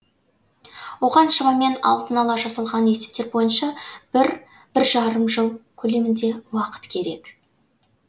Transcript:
оған шамамен алдын ала жасалған есептер бойынша бір бір жарым жыл көлемінде уақыт керек